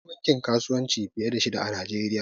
Akwai bankin kasuwanci fiye da shida a najeriya